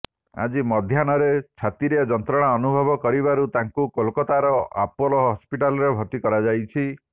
ଆଜି ମଧ୍ୟାହ୍ନରେ ଛାତିରେ ଯନ୍ତ୍ରଣା ଅନୁଭବ କରିବାରୁ ତାଙ୍କୁ କୋଲକାତାର ଆପୋଲୋ ହସ୍ପିଟାଲରେ ଭର୍ତ୍ତି କରାଯାଇଛି